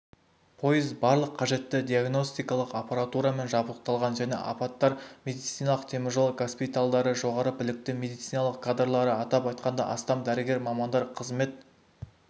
пойыз барлық қажетті диагностикалық аппаратурамен жабдықталған және апаттар медицинасының теміржол госпитальдары жоғары білікті медициналық кадрлары атап айтқанда астам дәрігер мамандары қызмет